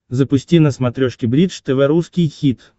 запусти на смотрешке бридж тв русский хит